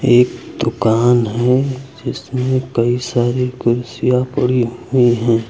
एक दुकान है जिसमें कई सारी कुर्सियां पड़ी हुई हैं।